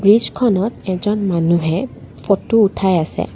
ব্ৰিজখনত এজন মানুহে ফটো উঠাই আছে।